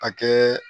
A kɛ